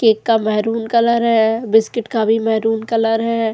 Cake का maroon colour है biscuit का भी मेहरून कलर है।